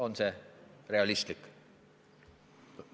On see realistlik?